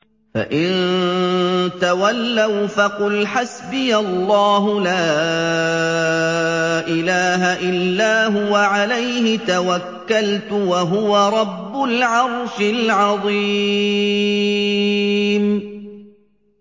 فَإِن تَوَلَّوْا فَقُلْ حَسْبِيَ اللَّهُ لَا إِلَٰهَ إِلَّا هُوَ ۖ عَلَيْهِ تَوَكَّلْتُ ۖ وَهُوَ رَبُّ الْعَرْشِ الْعَظِيمِ